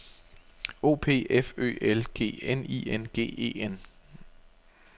O P F Ø L G N I N G E N